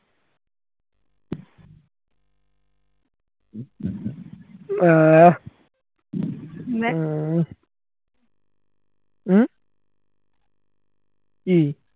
আহ উম উম কি